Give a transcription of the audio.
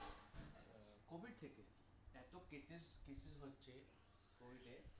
covid থেকে এতো present stitching হচ্ছে covid এ